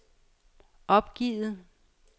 opgivet